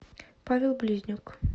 павел близнюк